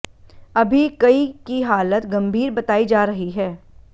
अभी कई की हालत गंभीर बताई जा रही है